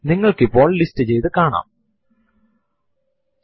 ഇത് നിങ്ങളുടെ ഇപ്പോഴത്തെ സിസ്റ്റത്തിന്റെ സമയവും തീയതിയും കാണിച്ചു തരും